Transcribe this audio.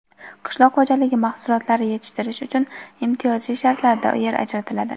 Qishloq xo‘jaligi mahsulotlari yetishtirish uchun imtiyozli shartlarda yer ajratiladi.